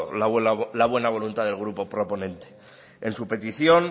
la buena voluntad del grupo proponente en su petición